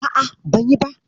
A'a, ban yi ba.